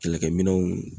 Kɛlɛkɛminɛnw